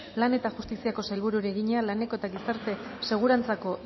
lan eta justiziako sailburuari egina laneko eta gizarte segurantzako